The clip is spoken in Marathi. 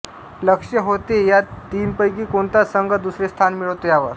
लक्ष होते या तीनपैकी कोणता संघ दुसरे स्थान मिळवतो यावर